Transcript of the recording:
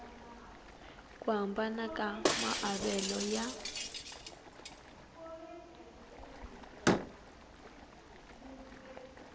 ku hambana ka maavelo ya